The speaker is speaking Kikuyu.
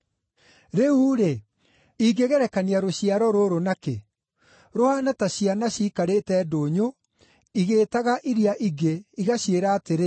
“Rĩu-rĩ, ingĩgerekania rũciaro rũrũ na kĩ? Rũhaana ta ciana ciikarĩte ndũnyũ igĩĩtaga iria ingĩ, igaciĩra atĩrĩ: